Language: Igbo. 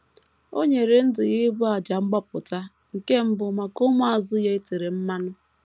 O nyere ndụ ya ịbụ àjà mgbapụta, nke mbụ maka ụmụazụ ya e tere mmanụ.